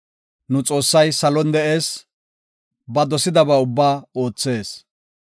Nu Xoossay salon de7ees; ba dosidaba ubbaa oothees.